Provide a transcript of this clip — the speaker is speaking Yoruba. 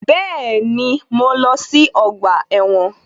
Bẹ́ẹ̀ni, mo lọ sí ọgbà ẹ̀wọ̀n